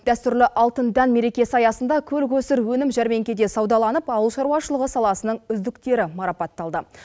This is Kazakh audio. дәстүрлі алтын дән мерекесі аясында көл көсір өнім жәрменкеде саудаланып ауылшаруашылығы саласының үздіктері марапатталды